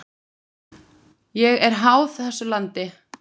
Ég er háð þessu landi.